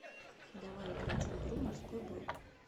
давай играть в игру морской бой